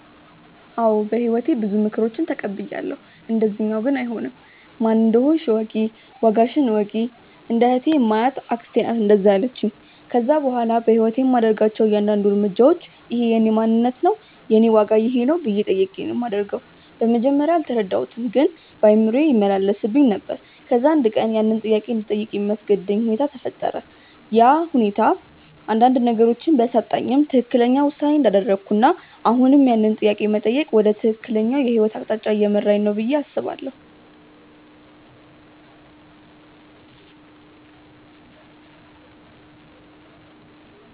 አዎ በህይወቴ ብዙ ምክሮችን ተቀብያለው፣ እንደዚኛው ግን አይሆንም። "ማን እንደሆንሽ እወቂ፣ ዋጋሽን እወቂ"። እንደ እህቴ የማያት አክስቴ ናት እንደዛ ያለቺኝ። ከዛ በኋላ በህይወቴ የማደርጋቸው እያንዳድንዱ እርምጃዎች" እኼ የእኔ ማንነት ነው? የኔ ዋጋ ይኼ ነው?" ብዬ ጠይቄ ነው ማደርገው። በመጀመርያ አልተረዳሁትም ግን በአእምሮዬ ይመላለስብኝ ነበር። ከዛ አንድ ቀን ያንን ጥያቄ እንድጠይቅ የሚያስገድድ ነገር ተፈጠረ፤ ያ ሁኔታ አንዳንድ ነገሮችን ቢያሳጣኝም ትክክለኛው ውሳኔ እንዳደረኩና አሁንም ያንን ጥያቄ መጠየቅ ወደ ትክክለኛው የህይወት አቅጣጫ እየመራኝ ነው ብዬ አስባለው።